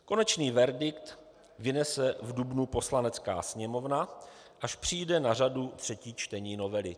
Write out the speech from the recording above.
Konečný verdikt vynese v dubnu Poslanecká sněmovna, až přijde na řadu třetí čtení novely.